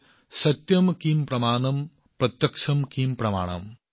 সত্যম কিম প্ৰমাণম প্ৰত্যক্ষম কিম প্ৰমাণম